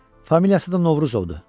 Familiyası da Novruzovdur.